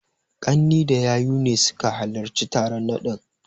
Ƙanne da yayu ne suka halarci taron naɗin.